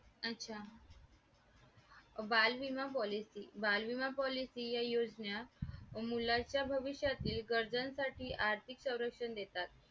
अच्छा बाल विमा policy बाल विमा policy या योजना मुलांच्या भविष्यातील गरजेसाठी आर्थिक संरक्षण देतात.